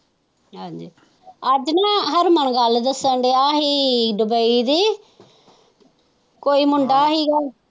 ਹਾਜੀ ਅੱਜ ਨਾ ਹਰਮਨ ਗੱਲ ਦੱਸਣ ਸੀ ਦੁਬਈ ਦੀ ਕੋਈ ਮੁੰਡਾ ਹੀ ਸੀ।